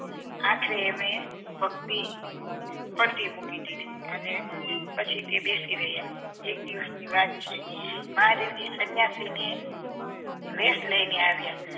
આખરે એમણે ભક્તિ પડતી મુકી દીધી અને પછી તે બેસી રહ્યા એક દિવસ ની વાત છે મહાદેવજી સન્યાસીને વેસ લઈને આવ્યા